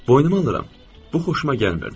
Boynuma alıram, bu xoşuma gəlmirdi.